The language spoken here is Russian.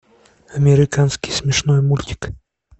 американский смешной мультик